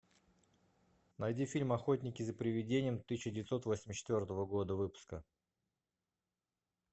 найди фильм охотники за привидениями тысяча девятьсот восемьдесят четвертого года выпуска